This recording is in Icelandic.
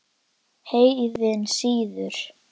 Heiðinn siður